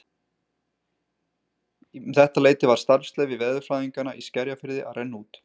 Um þetta leyti var starfsleyfi veðurfræðinganna í Skerjafirði að renna út.